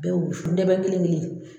Bɛ wusu ndɛbɛ kelen kelen ye